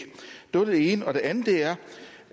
det var det ene det andet er